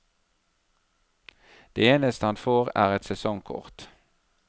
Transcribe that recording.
Det eneste han får er et sesongkort.